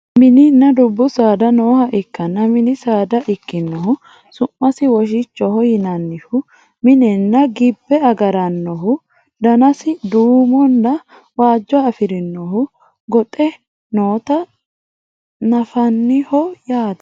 mininna dubbu saada nooha ikkanna mini saada ikkinohu su'masi woshichoho yinannihu minenna gibbe agarannohu danasi duumonna waajjo afirinohu goxe noota nafanniho yaate